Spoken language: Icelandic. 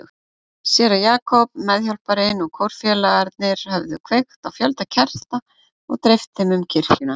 Séra Jakob, meðhjálparinn og kórfélagarnir höfðu kveikt á fjölda kerta og dreift þeim um kirkjuna.